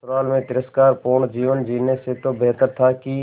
ससुराल में तिरस्कार पूर्ण जीवन जीने से तो बेहतर था कि